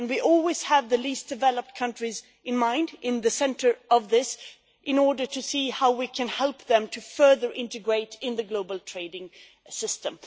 We always had the least-developed countries in mind at the centre of this, in order to see how we can help them to further integrate into the global trading system.